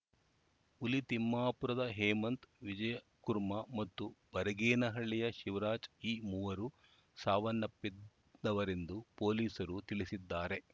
ಹುಲಿ ತಿಮ್ಮಾಪುರದ ಹೇಮಂತ್‌ ವಿಜಯಕುರ್ಮ ಮತ್ತು ಬರಗೇನಹಳ್ಳಿಯ ಶಿವರಾಜ್‌ ಈ ಮೂವರು ಸಾವನ್ನಪ್ಪಿದವರೆಂದು ಪೊಲೀಸರು ತಿಳಿಸಿದ್ದಾರೆ